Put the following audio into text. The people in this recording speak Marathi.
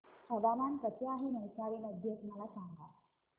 हवामान कसे आहे नवसारी मध्ये मला सांगा